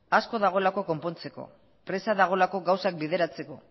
asko dagoelako konpontzeko presa dagoelako gauzak bideratzeko